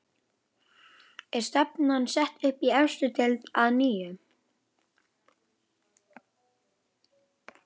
Er stefnan sett upp í efstu deild að nýju?